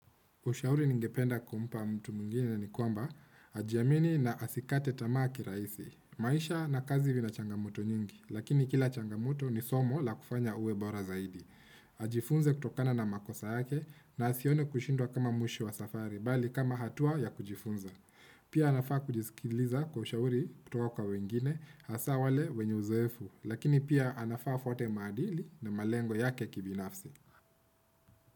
Ushauri ningependa kumpa mtu mwingine ni kwamba, ajiamini na asikate tamaa kirahisi. Maisha na kazi vina changamoto nyingi, lakini kila changamoto ni somo la kufanya uwe bora zaidi. Ajifunze kutokana na makosa yake na asione kushindwa kama mwisho wa safari, bali kama hatua ya kujifunza. Pia anafaa kujisikiliza kwa ushauri kutoka wengine, hasa wale wenye uzoefu, lakini pia anafaa afuate maadili na malengo yake kibinafsi.